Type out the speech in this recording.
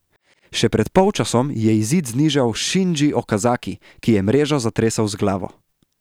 Še pred polčasom je izid znižal Šindži Okazaki, ki je mrežo zatresel z glavo.